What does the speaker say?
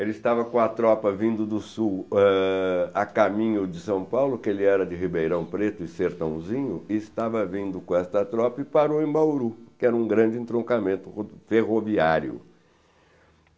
Ele estava com a tropa vindo do sul, ãh, a caminho de São Paulo, que ele era de Ribeirão Preto e Sertãozinho, e estava vindo com esta tropa e parou em Bauru, que era um grande entroncamento ferroviário.